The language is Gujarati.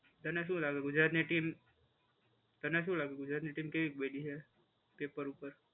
તને શું લાગે ગુજરાતની ટીમ, તને શું લાગે ગુજરાતની ટીમ કેવી બની છે પેપર ઉપર?